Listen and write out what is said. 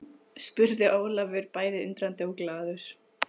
spurði Ólafur bæði undrandi og glaður.